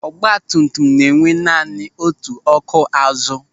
Ọgbatumtum na enwe naanị otu ọ́kụ́ azu.